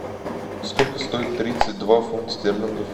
сколько стоит тридцать два фунт стерлингов